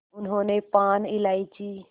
उन्होंने पान इलायची